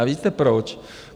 A víte proč?